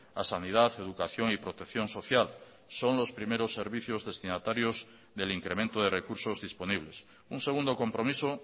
a sanidad educación y protección social son los primeros servicios destinatarios del incremento de recursos disponibles un segundo compromiso